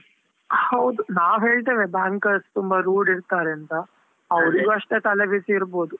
ಹೌದು, ನಾವ್ ಹೇಳ್ತೇವೆ bankers ತುಂಬಾ rude ಇರ್ತಾರೆ ಅಂತಾ, ಅಷ್ಟೇ ತಲೆಬಿಸಿ ಇರ್ಬೋದು.